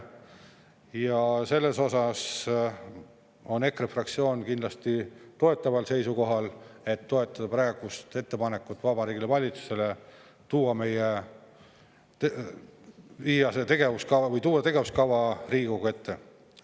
Ja selles osas on EKRE fraktsioon kindlasti toetaval seisukohal, et toetada praegust ettepanekut Vabariigi Valitsusele tuua see tegevuskava Riigikogu ette.